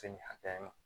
Se nin hakɛya in